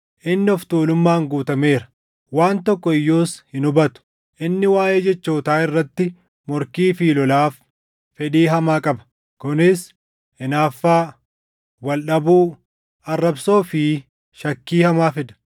inni of tuulummaan guutameera; waan tokko iyyuus hin hubatu. Inni waaʼee jechootaa irratti morkii fi lolaaf fedhii hamaa qaba; kunis hinaaffaa, wal dhabuu, arrabsoo fi shakkii hamaa fida;